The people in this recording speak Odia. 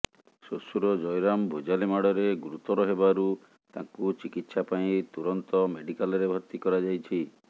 ଶ୍ୱଶୁର ଜୟରାମ ଭୁଜାଲି ମାଡ଼ରେ ଗୁରୁତର ହେବାରୁ ତାଙ୍କୁ ଚିକିତ୍ସା ପାଇଁ ତୁରନ୍ତ ମେଡିକାଲରେ ଭର୍ତ୍ତି କରାଯାଇଛି